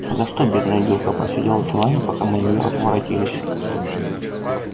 за что бедная девка просидела в чулане пока мы не воротились